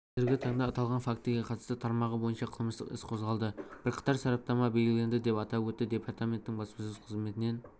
қазіргі таңда аталған фактіге қатысты тармағы бойынша қылмыстық іс қозғалды бірқатар сараптама белгіленді деп атап өтті департаменттің баспасөз қызметінен